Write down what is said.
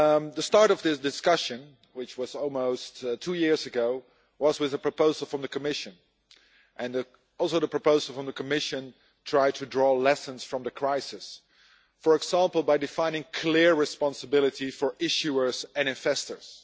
The start of this discussion, which was almost two years ago, was with a proposal from the Commission and also the proposal from the Commission tried to draw lessons from the crisis, for example by defining clear responsibilities for issuers and investors.